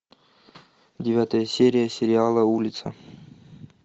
девятая серия сериала улица